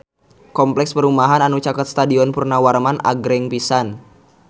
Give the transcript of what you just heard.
Kompleks perumahan anu caket Stadion Purnawarman agreng pisan